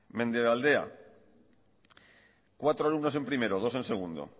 mendebaldea cuatro alumnos en primero dos en segundo